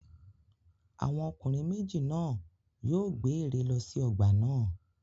Àwọn ọkùnrin méjì náà yóò gbé ère lọ sí ọgbà náà.